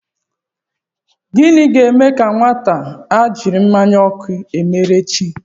Gịnị ga-eme ka nwata a jiri mmanya ọkụ mere chi?